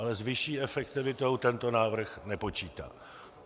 Ale s vyšší efektivitou tento návrh nepočítá.